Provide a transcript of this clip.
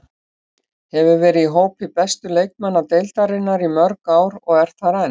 Hefur verið í hópi bestu leikmanna deildarinnar í mörg ár og er þar enn.